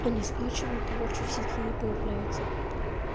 они скачивают и больше в сети не появляются